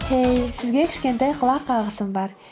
хей сізге кішкентай құлақ қағысым бар